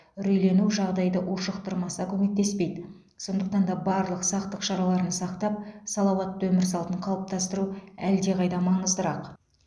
үрейлену жағдайды ушықтырмаса көмектеспейді сондықтан да барлық сақтық шараларын сақтап салауатты өмір салтын қалыптастыру әлдеқайда маңыздырақ